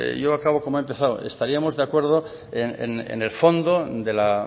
yo acabo como he empezado estaríamos de acuerdo en el fondo de la